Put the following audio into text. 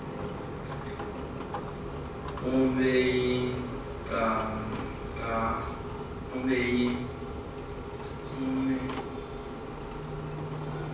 umeyi ngangaye nomama